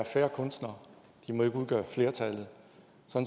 færre kunstnere de må ikke udgøre flertallet